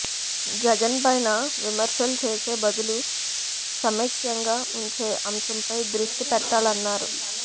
జగన్ పైన విమర్శలు చేసే బదులు సమైక్యంగా ఉంచే అంశంపై దృష్టి పెట్టాలన్నారు